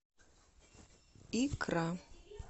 икра